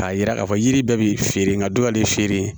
K'a yira k'a fɔ yiri bɛɛ bɛ feere nka dɔ de feere